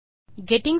hello friends